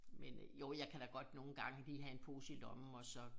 Men øh jo jeg kan da godt nogen gange lige have en pose i lommen og så